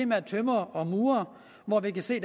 med tømrere og murere hvor vi kan se